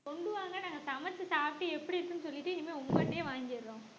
கொண்டு வாங்க நாங்க சமைச்சு சாப்பிட்டு எப்படி இருக்குன்னு சொல்லிட்டு இனிமே உங்கள்ட்டயே வாங்கிடுறோம்